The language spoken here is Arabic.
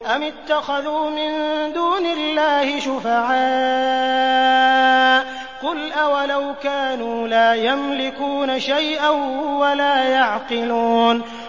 أَمِ اتَّخَذُوا مِن دُونِ اللَّهِ شُفَعَاءَ ۚ قُلْ أَوَلَوْ كَانُوا لَا يَمْلِكُونَ شَيْئًا وَلَا يَعْقِلُونَ